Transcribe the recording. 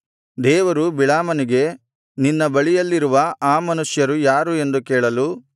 ದೇವರು ಬಿಳಾಮನಿಗೆ ನಿನ್ನ ಬಳಿಯಲ್ಲಿರುವ ಆ ಮನುಷ್ಯರು ಯಾರು ಎಂದು ಕೇಳಲು